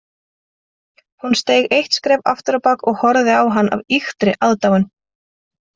Hún steig eitt skref afturábak og horfði á hann af ýktri aðdáun